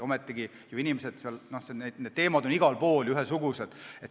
Ometigi on need teemad igal pool ühesugused.